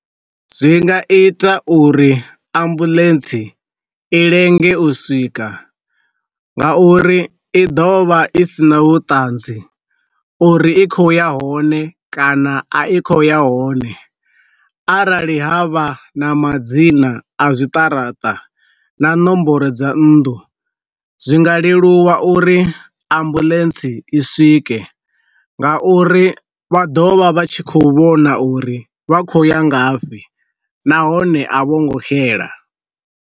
Zwi nga ita uri ambuḽentsi i lenge u swika nga uri i ḓovha i sina vhuṱanzi uri i khou ya hone kana a i kho ya hone, arali ha vha na madzina a zwiṱaraṱa na nomboro dza nnḓu, zwi nga leluwa uri ambuḽentsi i swike nga uri vha ḓovha vha tshi kho vhona uri vha khou ya ngafhi nahone a vho ngo xela.